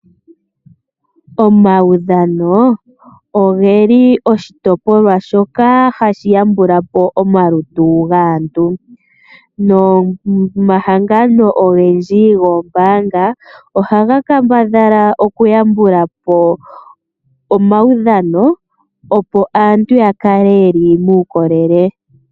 Omaudhano oge li oshitopolwa shoka hashi yambulapo omalutu gaantu nomahangano ogendji goombanga oha ga kambadhala okuyambulapo omaudhano opo aantu ya kale ye li muukolele.